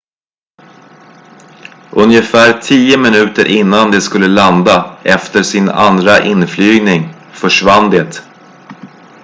ungefär tio minuter innan det skulle landa efter sin andra inflygning försvann det